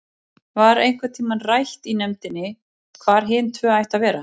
Var einhvern tímann rætt í nefndinni hvar hin tvö ættu að vera?